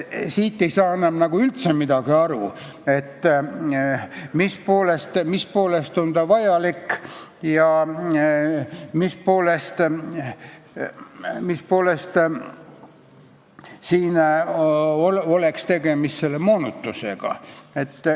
Siit ei saa enam üldse aru, mis poolest on ta vajalik ja mis poolest oleks tegemist moonutusega.